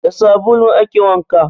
Da sabulu ake wanka